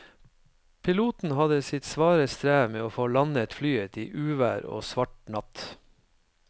Piloten hadde sitt svare strev med å få landet flyet i uvær og svart natt.